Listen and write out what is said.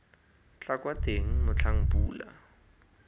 tla kwa teng motlhang pula